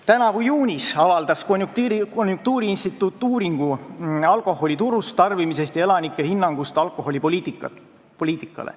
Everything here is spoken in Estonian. Tänavu juunis avaldas konjunktuuriinstituut uuringu "Alkoholi turg, tarbimine ja elanike hinnangud riigi alkoholipoliitikale".